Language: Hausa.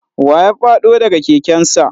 Wa ya fado da ga keken sa?